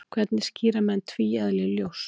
hvernig skýra menn tvíeðli ljóss